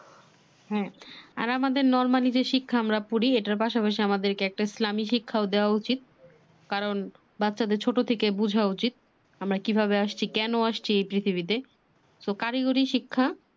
হ্যা আর আমাদের normal যে শিক্ষা আমরা পড়ি। এটার পাশা পাশি আমাদের একটা ইসলামী শিখাও দেওয়া উচিত। কারণ বাচ্চাদের বোঝা উচিত আমরা কিভাবে আসছি কেন আসছি এই পৃথিবীতে।